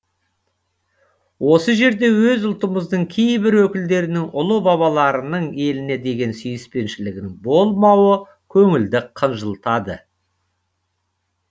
осы жерде өз ұлтымыздың кейбір өкілдерінің ұлы бабаларының еліне деген сүйіспеншілігінің болмауы көңілді қынжылтады